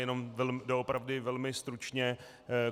Jenom doopravdy velmi stručně.